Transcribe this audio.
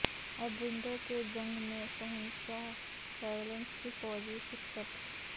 ایڈرینڈو کے جنگ میں شہنشاہ ویلینس کی فوجی شکست